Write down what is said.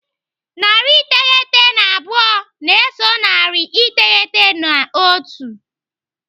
Narị iteghete na abụọ na-eso narị iteghete na otu.